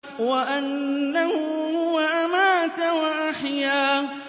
وَأَنَّهُ هُوَ أَمَاتَ وَأَحْيَا